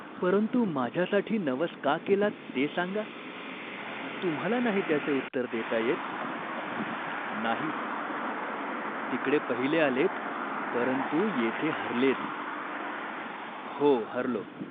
परंतु माझ्यासाठी नवस का केलात ते सांगा." "तुम्हाला नाही त्याचे उत्तर देता येत ?" "नाही." "तिकडे पहिले आलेत, परंतु येथे हरलेत." "हो हरलो.